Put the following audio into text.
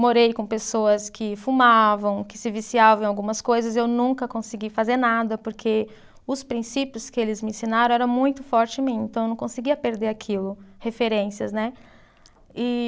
Morei com pessoas que fumavam, que se viciavam em algumas coisas, eu nunca consegui fazer nada, porque os princípios que eles me ensinaram eram muito forte em mim, então eu não conseguia perder aquilo, referências, né? E